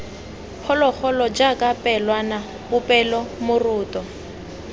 phologolo jaaka pelwana popelo moroto